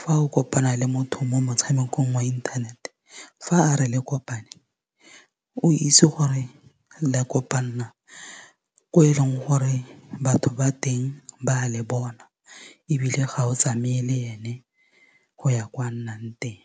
fa o kopana le motho mo motshamekong wa inthanete fa are le kopane o itse gore le kopanna ko e leng gore batho ba teng ba a le bona ebile ga o tsamaye le ene go ya kwa nnang teng.